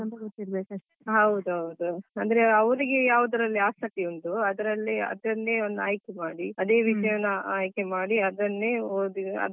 ಹೌದೌದು ಅಂದ್ರೆ ಅವ್ರಿಗೆ ಯಾವುದ್ರಲ್ಲಿ ಆಸಕ್ತಿ ಉಂಟು ಅದ್ರಲ್ಲಿ ಅದನ್ನೇ ಆಯ್ಕೆ ಅದೇ ವಿಷಯವನ್ನು ಆಯ್ಕೆ ಮಾಡಿ ಅದನ್ನೇ ಓದಿ ಅದ್ರಲ್ಲೇ ಮುಂದುವರಿಯುದು ಅಂದ್ರೆ ಈಗ ನಮಗೆ ಆದ್ರೆ ಏನು.